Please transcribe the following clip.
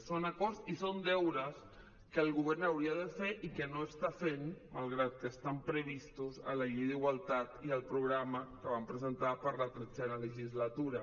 són acords i són deures que el govern hauria de fer i que no està fent malgrat que estan previstos en la llei d’igualtat i al programa que van presentar per a la tretzena legislatura